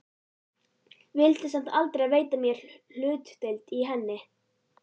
Vildi samt aldrei veita mér hlutdeild í henni.